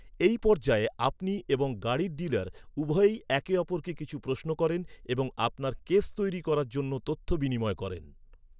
এই পর্যায়ে, আপনি এবং গাড়ির ডিলার উভয়ই একে অপরকে কিছু প্রশ্ন করেন এবং আপনার কেস তৈরি করার জন্য তথ্য বিনিময় করেন।